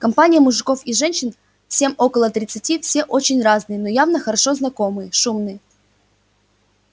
компания мужиков и женщин всем около тридцати все очень разные но явно хорошо знакомые шумные